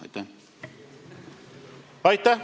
Aitäh!